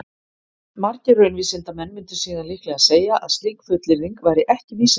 Margir raunvísindamenn mundu síðan líklega segja að slík fullyrðing væri ekki vísindaleg.